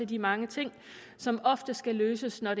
de mange ting som ofte skal løses når